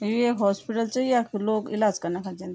यू ऐक हॉस्पिटल च यख लोग इलाज कना खण जंदी।